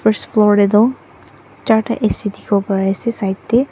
spore teh tu charta A_C dekhibo pare ase side teh.